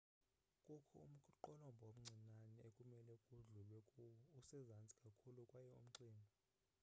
kukho umqolomba omncinane ekumele kudlulwe kuwo usezantsi kakhulu kwaye umxinwa